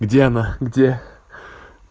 где она где